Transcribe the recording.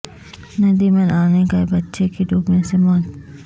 ندی میں نہانے گئے بچے کی ڈوبنے سے موت